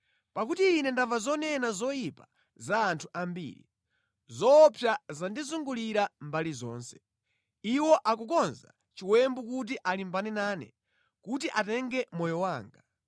Pakuti ine ndamva zonena zoyipa za anthu ambiri; zoopsa zandizungulira mbali zonse; iwo akukonza chiwembu kuti alimbane nane, kuti atenge moyo wanga.